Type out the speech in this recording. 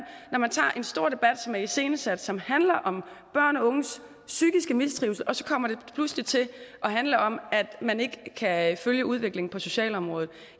når man tager en stor debat som er iscenesat som handler om børn og unges psykiske mistrivsel og så kommer det pludselig til at handle om at man ikke kan følge udviklingen på socialområdet